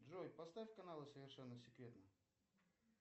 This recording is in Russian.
джой поставь канал совершенно секретно